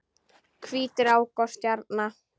Hvít rák og stjarna